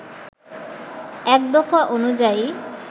এক দফা অনুযায়ী